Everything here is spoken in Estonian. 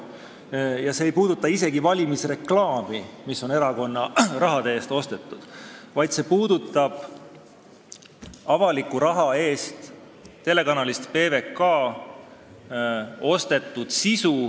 See arupärimine ei puuduta isegi mitte valimisreklaami, mis on erakonna raha eest ostetud, vaid avaliku raha eest telekanalilt PBK ostetud saadete sisu.